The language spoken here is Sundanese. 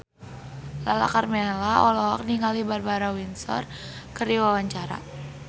Lala Karmela olohok ningali Barbara Windsor keur diwawancara